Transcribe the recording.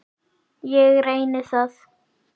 Ég reyni það.